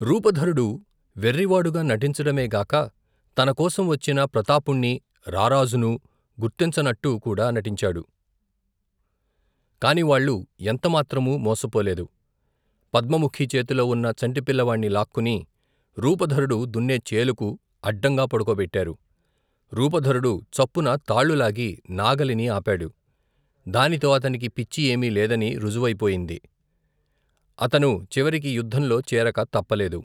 రూపధరుడు వెర్రివాడుగా నటించడమే గాక తనకోసం వచ్చిన ప్రతాపుణ్ణీ, రారాజునూ గుర్తించనట్టుకూడా నటించాడు, కాని వాళ్లు ఎంతమాత్రమూ, మోసపోలేదు పద్మముఖి చేతిలో ఉన్న చంటి పిల్లవాణ్ణి లాక్కుని, రూపధరుడు దున్నే చేలుకు, అడ్డంగా పడుకోబెట్టారు రూపధరుడు చప్పున తాళ్లు లాగి నాగలిని ఆపాడు, దానితో అతనికి పిచ్చి ఏమీ లేదని, రుజువయిపోయింది అతను చివరికి యుద్దంలో చేరక తప్పలేదు.